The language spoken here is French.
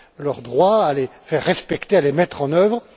leurs droits, à les faire respecter, à les mettre en œuvre.